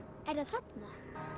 er það þarna